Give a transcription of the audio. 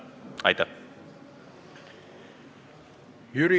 Aitäh!